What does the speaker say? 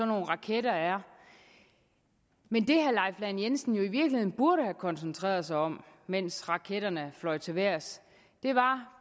nogle raketter er men det herre leif lahn jensen jo i virkeligheden burde have koncentreret sig om mens raketterne fløj til vejrs var